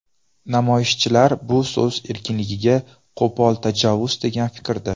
Namoyishchilar bu so‘z erkinligiga qo‘pol tajovuz degan fikrda.